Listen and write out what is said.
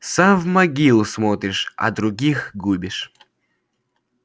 сам в могилу смотришь а других губишь